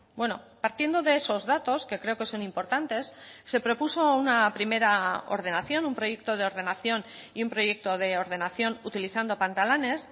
bueno partiendo de esos datos que creo que son importantes se propuso una primera ordenación un proyecto de ordenación y un proyecto de ordenación utilizando pantalanes